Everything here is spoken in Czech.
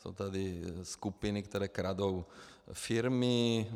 Jsou tady skupiny, které kradou firmy.